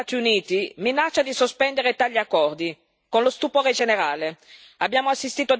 Il presidente degli Stati Uniti minaccia di sospendere tali accordi tra lo stupore generale.